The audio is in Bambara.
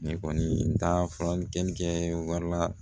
Ne kɔni taara furakɛli kɛli kɛ wari la